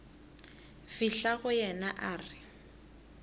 fihla go yena a re